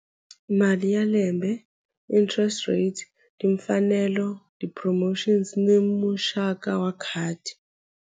Mali ya lembe interest rate timfanelo ti-promotions ni muxaka wa khadi.